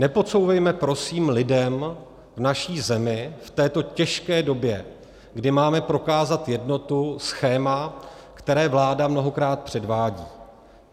Nepodsouvejme prosím lidem v naší zemi v této těžké době, kdy máme prokázat jednotu, schéma, které vláda mnohokrát předvádí.